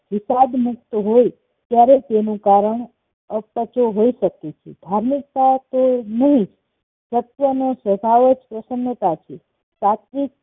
વિતાદ મુક્ત હોઈ ત્યારે તેનું કારણ અપચો હોઈ શકે છે ધાર્મિકતા તે તેની સત્યનો સ્વભાવ જ પ્રશ્નતા છે પ્રાથમિક